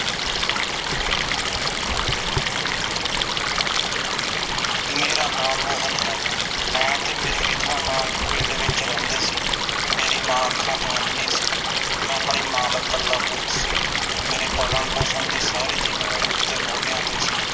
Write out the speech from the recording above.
ਮੇਰਾ ਨਾਮ ਮੋਹਨ ਹੈ ਮੈਂ ਤੇ ਮੇਰੀ ਵਿਧਵਾ ਮਾਂ ਇਕ ਪਿੰਡ ਵਿਚ ਰਹਿੰਦੇ ਸੀ ਮੇਰੀ ਮਾਂ ਅੱਖਾਂ ਤੋਂ ਅੰਨ੍ਹੀ ਸੀ ਮੈਂ ਆਪਣੀ ਮਾਂ ਦਾ ਇੱਕਲਾ ਪੁੱਤ ਸੀ ਮੇਰੇ ਪਾਲਣ ਪੋਸ਼ਣ ਦੀ ਸਾਰੀ ਜਿੰਮੇਵਾਰੀ ਉਸਦੇ ਮੋਢਿਆਂ ਤੇ ਸੀ